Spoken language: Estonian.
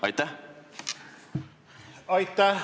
Aitäh!